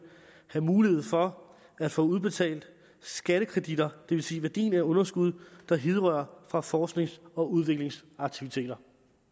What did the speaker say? have mulighed for at få udbetalt skattekreditter det vil sige værdien af underskud der hidrører fra forsknings og udviklingsaktiviteter